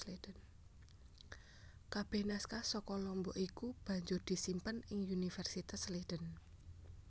Kabeh naskah saka Lombok iku banjur disimpen ing Universitas Leiden